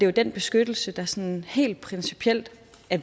jo den beskyttelse der sådan helt principielter